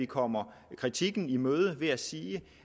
kommer kritikken i møde ved at sige